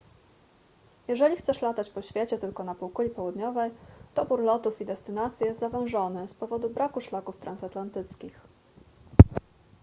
jeżeli chcesz latać po świecie tylko na półkuli południowej dobór lotów i destynacji jest zawężony z powodu braku szlaków transatlantyckich